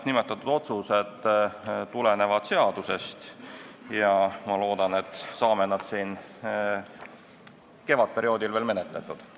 Mõlemad otsused tulenevad seadusest ja ma loodan, et me saame need siin kevadperioodil menetletud.